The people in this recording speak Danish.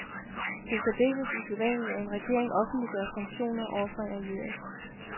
Det er særdeles usædvanligt, at en regering offentliggør sanktioner over for en allieret.